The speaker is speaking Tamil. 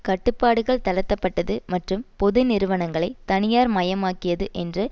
கட்டுப்பாடுகள் தளர்த்தப்பட்டது மற்றும் பொது நிறுவனங்களைத் தனியார் மயமாக்கியது என்று